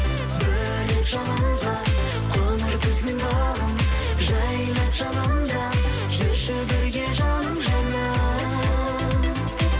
бөлеп жалынға қоңыр күздің бағын жайнап жанымда жүрші бірге жаным жаным